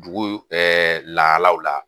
Duguyu lahalaw la